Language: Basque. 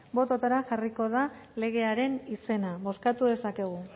bototara jarriko da legearen izena bozkatuko dezakegu